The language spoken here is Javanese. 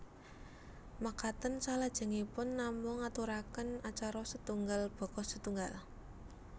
Makaten salajengipun namung ngaturaken acara setunggal baka setunggal